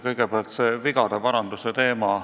Kõigepealt, vigade paranduse teema.